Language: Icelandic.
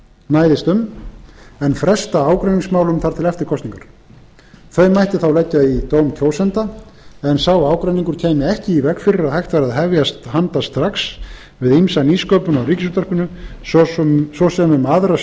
næðist um en fresta ágreiningsmálum þar til eftir kosningar þau mætti þá leggja í dóm kjósenda en sá ágreiningur kæmi ekki í veg fyrir að hægt væri að hefjast handa strax við ýmsa nýsköpun á ríkisútvarpinu svo sem um aðra